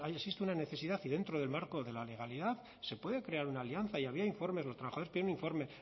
se existe una necesidad y dentro del marco de la legalidad se puede crear una alianza y había informes los trabajadores tienen informes